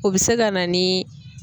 O bi se ka na ni.